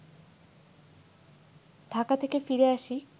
ঢাকা থেকে ফিরে আসি